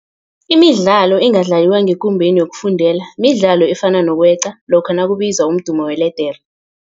Imidlalo engadlaliwa ngekumbeni yokufundela midlalo efana nokweqa lokha nakubizwa umdumo weledere.